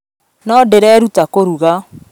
No ndĩreeruta kũruga